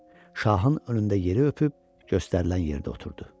Şahın önündə yeri öpüb, göstərilən yerdə oturdu.